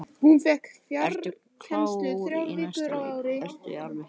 Ertu klár í næsta leik, ertu alveg heill?